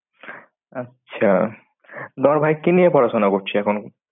আচ্ছা। বড় ভাই কি নিয়ে পড়াশোনা করছে এখন?